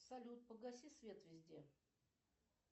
салют погаси свет везде